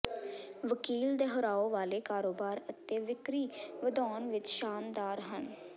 ਵਕੀਲ ਦੁਹਰਾਓ ਵਾਲੇ ਕਾਰੋਬਾਰ ਅਤੇ ਵਿਕਰੀ ਵਧਾਉਣ ਵਿਚ ਸ਼ਾਨਦਾਰ ਹਨ